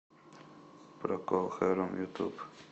прокол харум ютуб